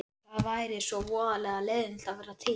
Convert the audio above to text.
Það væri svo voðalega leiðinlegt að vera til.